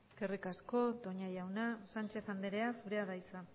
eskerrik asko toña jauna sánchez anderea zurea da hitza